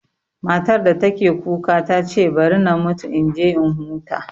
Matar da take kuka ta ce bari na mutu in je in huta